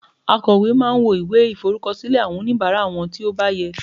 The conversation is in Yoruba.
akowe ma n wo iwe iforukọsilẹ awọn onibara won ti o ba yẹ